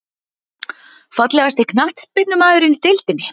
Fallegasti knattspyrnumaðurinn í deildinni?